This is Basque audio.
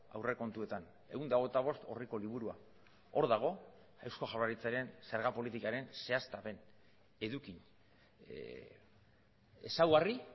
aurrekontuetan ehun eta hogeita bost orriko liburua hor dago eusko jaurlaritzaren zerga politikaren zehaztapen eduki ezaugarri